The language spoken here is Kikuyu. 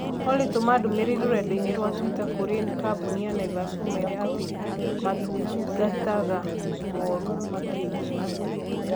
Olly tũma ndũmĩrĩri rũrenda-inī rũa tũita kũrĩ kambuni ya Naivas ũmeere atĩ maũtungataga mooru makĩria